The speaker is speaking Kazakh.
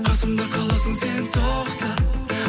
қасымда қаласың сен тоқта